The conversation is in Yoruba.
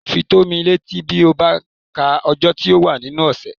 Fi tó mí létí bí ó bá ka ọjọ́ tí ó wà nínú ọ̀sẹ̀